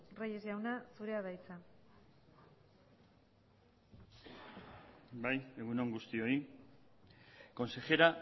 reyes jauna zurea da hitza bai egun on guztioi consejera